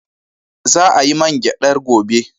Za a yi man gyadar gobe.